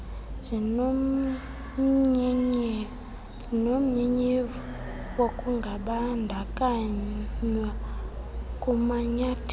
zinomnyenyevu wokungabandakanywa kumanyathelo